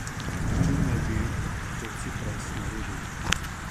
S čim naj bi pa to Cipras naredil?